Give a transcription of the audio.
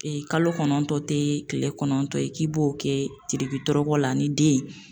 kalo kɔnɔntɔn tɛ kile kɔnɔntɔn ye k'i b'o kɛ teriki tɔrɔkɔ la ni den ye.